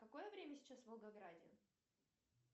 какое время сейчас в волгограде